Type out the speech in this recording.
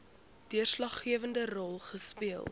deurslaggewende rol speel